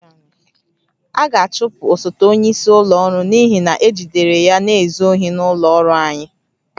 A ga-achụpụ osote onyeisi ụlọ ọrụ n'ihi na ejidere ya na-ezu ohi n'ụlọ ọrụ anyị